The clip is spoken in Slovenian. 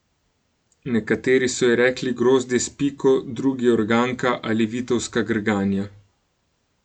Nekateri so ji rekli grozdje s piko, drugi organka ali vitovska grganja.